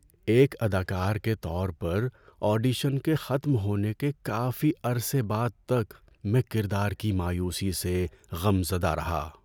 ‏ایک اداکار کے طور پر، آڈیشن کے ختم ہونے کے کافی عرصے بعد تک میں کردار کی مایوسی سے غم زدہ رہا۔